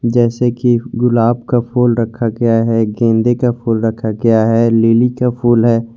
जैसे कि गुलाब का फूल रखा गया है गेंदे का फूल रखा गया है लिली का फूल है।